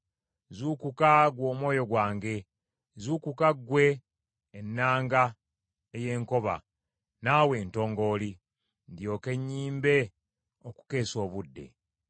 Zuukuka, ggwe omwoyo gwange! Zuukuka ggwe ennanga ey’enkoba, naawe entongooli, ndyoke nnyimbe okukeesa obudde.